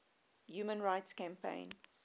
human rights campaign